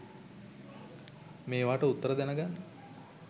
මේවට උත්තර දැනගන්න